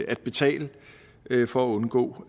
at betale for at undgå